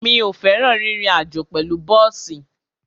Mi ò fẹ́ràn rírin àjó pẹ̀lú bọ́ọ̀sì.